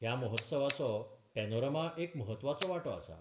ह्या महोत्सवाचो पेनोरमा एक म्हत्वाचो वांटो आसा.